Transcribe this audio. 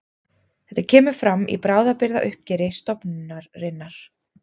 Þetta kemur fram í bráðabirgðauppgjöri stofnunarinnar